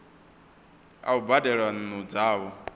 a u badela nnu dzavho